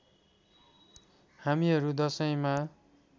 हामीहरू दशैँमा